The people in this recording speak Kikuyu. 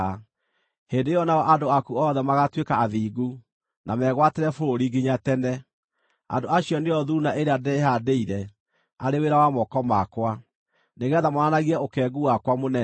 Hĩndĩ ĩyo nao andũ aku othe magaatuĩka athingu, na megwatĩre bũrũri nginya tene. Andũ acio nĩo thuuna ĩrĩa ndĩĩhaandĩire, arĩ wĩra wa moko makwa, nĩgeetha monanagie ũkengu wakwa mũnene.